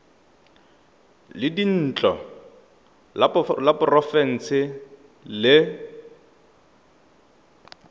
la dintlo la porofense le